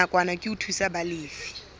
nakwana ke ho thusa balefi